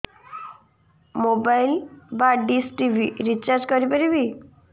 mobile ବା dish TV recharge କରି ପାରିବି